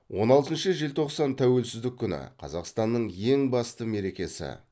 он алтыншы желтоқсан тәуелсіздік күні қазақстанның ең басты мерекесі